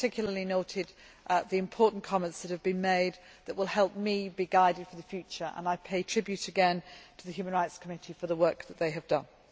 I have particularly noted the important comments that have been made that will help me be guided for the future and I pay tribute again to the Human Rights Committee for the work that they have done.